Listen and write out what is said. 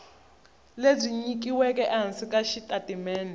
lebyi nyikiweke ehansi ka xitatimende